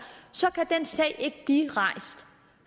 kan den sag ikke blive rejst